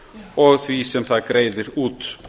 og þess sem það greiðir út